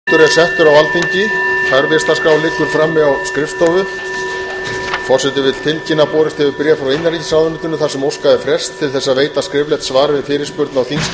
borist hefur bréf frá innanríkisráðuneytinu þar sem óskað er frests til að veita skriflegt svar við fyrirspurn á þingskjali fimm hundruð sjötíu og tvö um gögn um